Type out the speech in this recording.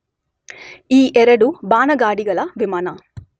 ಈ ಎರಡೂ ಬಾನಗಾಡಿಗಳ ವಿಮಾನ